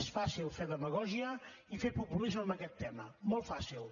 és fàcil fer demagògia i fer populisme amb aquest tema molt fàcil